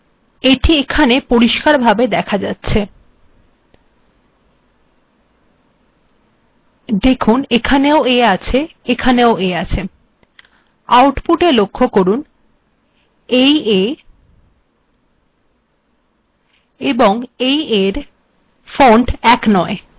iএখানে এটি পরিষ্কার ভাবে দেখা যাচ্ছে লক্ষ্য করুন এখানেও a আছে আউটপুটেও a আছে কিন্তু এই a এর ফন্ট্ অপরিটর েথেক অন্যরকম